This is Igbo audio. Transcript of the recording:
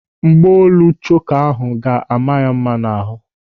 Mgbaolu choka ahụ ga-ama ya mma n'ahụ.